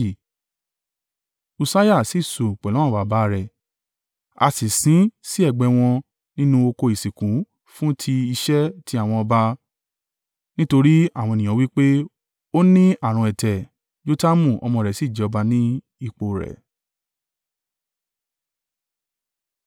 Ussiah sì sùn pẹ̀lú àwọn baba, rẹ̀ a sì sin sí ẹ̀gbẹ́ wọn nínú oko ìsìnkú fún ti iṣẹ́ tí àwọn ọba, nítorí àwọn ènìyàn wí pé “Ó ní ààrùn ẹ̀tẹ̀,” Jotamu ọmọ rẹ̀ sì jẹ ọba ní ipò rẹ̀.